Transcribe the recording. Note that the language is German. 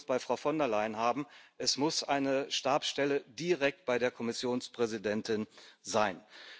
Wir wollen es bei Frau von der Leyen haben, es muss eine Stabsstelle direkt bei der Kommissionspräsidentin sein